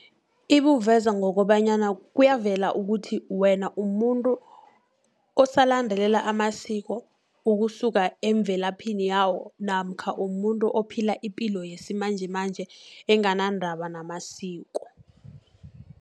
Ibuveza ngokobanyana kuyavela ukuthi, wena umuntu osalandelela amasiko, ukusuka emvelaphini yawo, namkha umuntu ophila ipilo yesimanjemanje enganandaba namasiko.